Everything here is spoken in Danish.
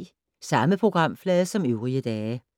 Samme programflade som øvrige dage